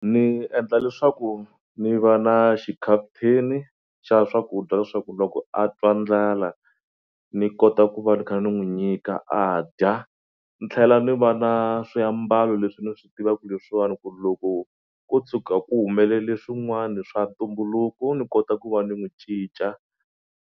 Ni endla leswaku ni va na xikhafuthini xa swakudya leswaku loko a twa ndlala ni kota ku va ni kha ni n'wi nyika a dya ni tlhela ni va na swiambalo leswi ni swi tivaku ku leswiwani ku loko ko tshuka ku humelele swin'wani swa ntumbuluko ni kota ku va ni n'wu cinca.